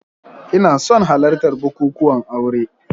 Ina son halartar bukukuwan aure